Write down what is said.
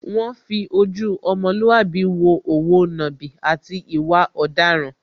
Wọ́n fi ojú ọmọlúàbí wo òwo nàbì, àti ìwà ọ̀daràn.